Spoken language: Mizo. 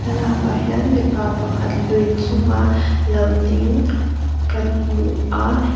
thlalak ah hian mipa pakhat lui chunga lo ding kan hmu a.